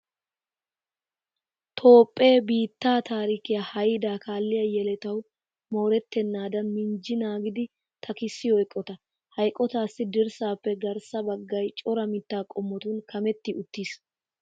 Toophphee biittaa taarikiya haydaa kaalliya yeletawu moorettennaadan minjji naagidi takissiyo eqotaa. Ha eqotaassi dirssaappe garssa baggay cora mittaa qommotun kametti uttiis.